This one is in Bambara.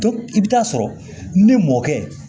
i bɛ taa sɔrɔ ni mɔkɛ